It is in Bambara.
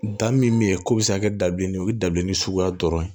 Da min bɛ yen ko bɛ se ka kɛ dabilennin o ye dabilennin suguya dɔrɔn ye